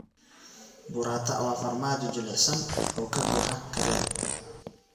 Burrata waa farmaajo jilicsan oo ka buuxa kareem.